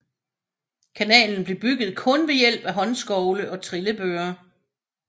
Kanalen blev bygget kun ved hjælp af håndskovle og trillebøre